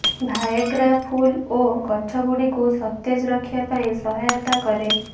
Viagra ଫୁଲ ଓ ଗଛଗୁଡିକୁ ସତେଜ ରଖିବା ପାଇଁ ସହାୟତା କରେ